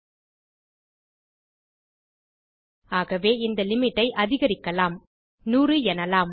ஆகவே இந்த லிமிட் ஐ அதிகரிக்கலாம் 100 எனலாம்